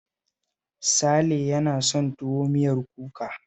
Sale yana son tuwo miyar kuka